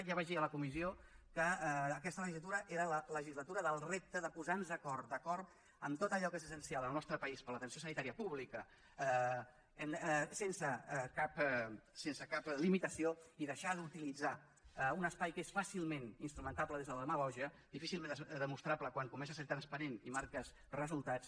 ja vaig dir a la comissió que aquesta legislatura era la legislatura del repte de posar nos d’acord en tot allò que és essencial en el nostre país per a l’atenció sanitària pública sense cap limitació i deixar d’utilitzar un espai que és fàcilment instrumentable des de la demagògia difícilment demostrable quan comença a ser transparent i marques resultats